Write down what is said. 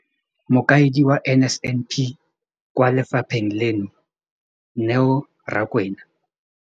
Mokaedi wa NSNP kwa lefapheng leno, Neo Rakwena.